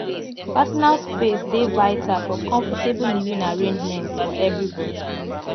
personal space dey vital for comfortable living arrangements for everybody